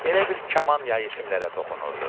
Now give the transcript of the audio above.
Elə bil kaman yayı simlərə toxunurdu.